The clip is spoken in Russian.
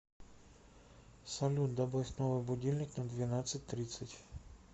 салют добавь новый будильник на двенадцать тридцать